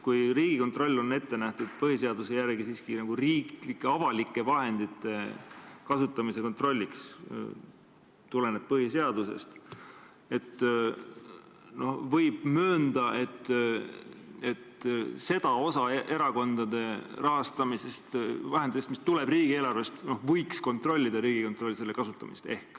Kui Riigikontroll on põhiseaduse järgi ette nähtud siiski riiklike, avalike vahendite kasutamise kontrolliks, see tuleneb põhiseadusest, siis võib möönda, et seda osa erakondade rahastamisest, vahendeid, mis tulevad riigieelarvest, võiks ehk kontrollida Riigikontroll, selle osa kasutamist.